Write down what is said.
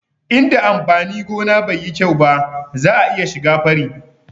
Inda amfani gona bai yi kyau ba za'a iya shiga fari